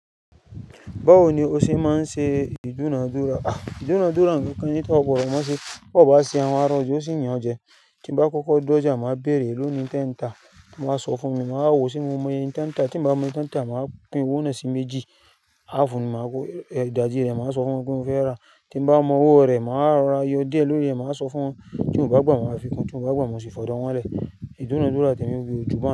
Báwo ni o ṣe máa ń ṣe ìdúnadúrà? À, ìdúnadúrà nǹkan kan ní tó gbọ́dọ̀ mọ̀ ọ́n ṣe, bó bá ṣe àwọn ará ọjà ó sì yan jẹ, tí n bá kọ́kọ́ dọ́jà, màá béèrè Éèlòó ni nǹkan tí ẹ ń tà wọn bá wa sọ fún mi, màá wò ó ṣe mo mọ iye tẹ́ńtà, tí bá mọ iye tẹ́ńtà, màá pín owó náà sí méjì, háàfù ni màá kó, ìdajì rẹ̀ màá sọ fún wọn pé mo fẹ́ rà, tí bá mọ owó rẹ̀, màá rọra yọ díẹ̀ lórí rẹ̀, màá sọ fún wọn tí wọ́n bá gbà màá sì, tí wọ́n bá gbà, màá sì fi odò wọ́n lẹ̀. Ìdúnadúrà tẹ̀mi ju báyìí.